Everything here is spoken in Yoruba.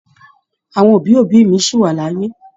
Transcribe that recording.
Àwọn òbí òbí mí sí wa l'ayé.